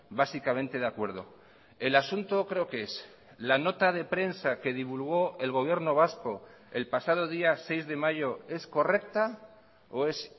básicamente de acuerdo el asunto creo que es la nota de prensa que divulgó el gobierno vasco el pasado día seis de mayo es correcta o es